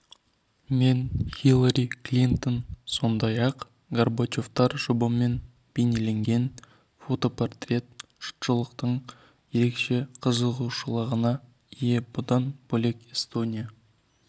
мен хиллари клинтон сондай-ақ горбачевтер жұбымен бейнеленген фотопортрет жұртшылықтың ерекше қызығушылығына ие бұдан бөлек эстония